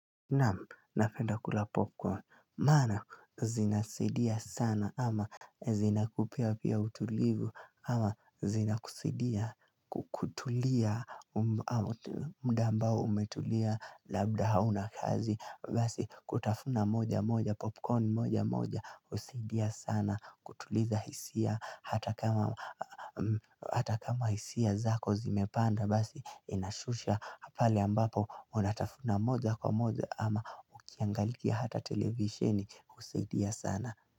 Naam, napenda kula popcorn, maana zinasaidia sana ama zinakupea pia utulivu ama zinakusaidia kutulia muda ambao umetulia labda hauna kazi Basi kutafuna moja moja popcorn moja moja husaidia sana kutuliza hisia ata kama hata kama hisia zako zimepanda Basi inashusha pale ambapo unatafuna moja kwa moja ama ukiangalikia hata televisioni husaidia sana.